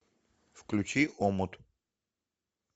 включи омут